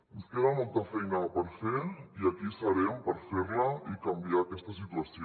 ens queda molta feina per fer i aquí serem per fer la i canviar aquesta situació